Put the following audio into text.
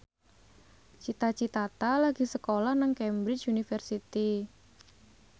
Cita Citata lagi sekolah nang Cambridge University